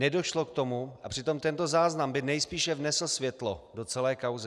Nedošlo k tomu, a přitom tento záznam by nejspíše vnesl světlo do celé kauzy.